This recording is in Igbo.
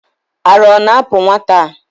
Ara ọ na-apu nwata a?